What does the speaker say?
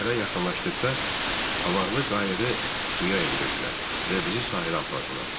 Şəhərə yaxınlaşdıqda avarlı qayığı suya endirdilər və bizi sahilə apardılar.